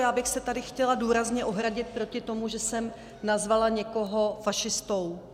Já bych se tady chtěla důrazně ohradit proti tomu, že jsem nazvala někoho fašistou.